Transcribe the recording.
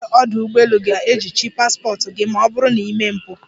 Ndị nche ọdụ ụgbọelu ga-ejichi paspọt gị ma ọ bụrụ na i mee mpụ.